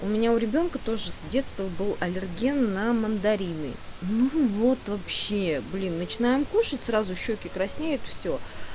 у меня у ребёнка тоже с детства был аллерген на мандарины ну вот вообще блин начинаем кушать сразу щеки краснеют все